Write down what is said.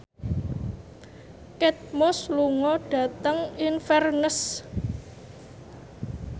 Kate Moss lunga dhateng Inverness